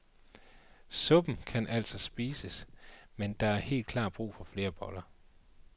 Suppen kan altså spises, men der er helt klart brug for flere boller.